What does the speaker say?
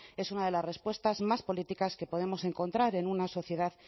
es una de las respuestas más políticas que podemos encontrar en una sociedad